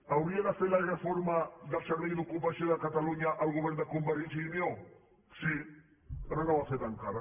hauria de fer la reforma del servei d’ocupació de catalunya el govern de convergència i unió sí però no ho ha fet encara